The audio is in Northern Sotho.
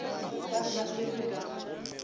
ba be ba swerwe ka